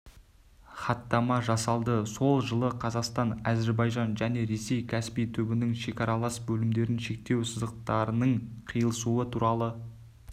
хаттама жасалды сол жылы қазақстан әзірбайжан және ресей каспий түбінің шекаралас бөлімдерін шектеу сызықтарыныңқиылысуы туралы